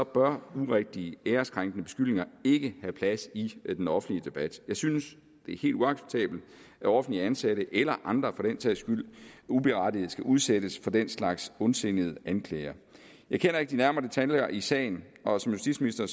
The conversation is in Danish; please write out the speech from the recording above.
bør urigtige æreskrænkende beskyldninger ikke have plads i den offentlige debat jeg synes det er helt uacceptabelt at offentligt ansatte eller andre for den sags skyld uberettiget skal udsættes for den slags ondsindede anklager jeg kender ikke de nærmere detaljer i sagen og som justitsminister